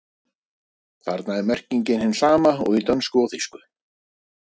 Þarna er merkingin hin sama og í dönsku og þýsku.